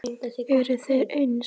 Eru þeir eins?